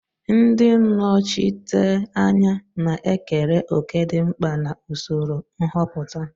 Ndị nnọchiteanya na-ekere òkè dị mkpa na usoro nhọpụta.